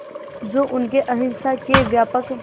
जो उनके अहिंसा के व्यापक